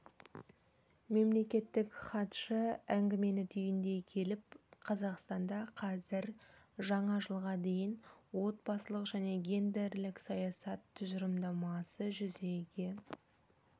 мемлекеттік хатшы әңгімені түйіндей келіп қазақстанда қазір жаңа жылға дейінгі отбасылық және гендерлік саясат тұжырымдамасы жүзеге